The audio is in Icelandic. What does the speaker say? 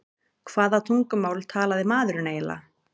Hvaða tungumál talaði maðurinn eiginlega?